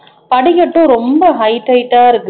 படிக்கட்டும் ரொம்ப height height ஆ இருக்குது